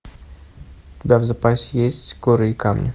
у тебя в запасе есть горы и камни